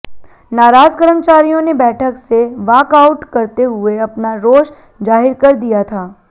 नाराज कर्मचारियों ने बैठक से वाकआउट करते हुए अपना रोष जाहिर कर दिया था